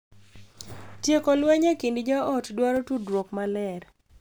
Tieko lweny e kind joot dwaro tudruok maler,